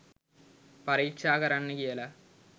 පරීක්ෂා කරන්න කියලා